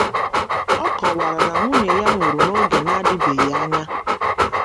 Ọ kọwara na nwunye ya nwụrụ n’oge na - adịbeghị anya.